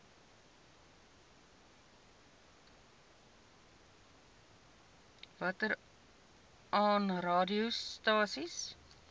watter aa radiostasies